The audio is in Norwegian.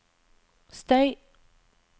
støy